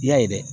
I y'a ye dɛ